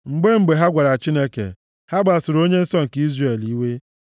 Mgbe mgbe, ha nwara Chineke; ha kpasuru Onye Nsọ nke Izrel iwe.